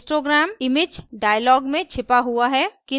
histogram image dialog में छिपा हुआ है